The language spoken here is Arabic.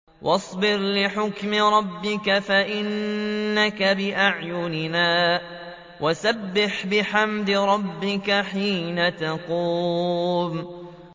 وَاصْبِرْ لِحُكْمِ رَبِّكَ فَإِنَّكَ بِأَعْيُنِنَا ۖ وَسَبِّحْ بِحَمْدِ رَبِّكَ حِينَ تَقُومُ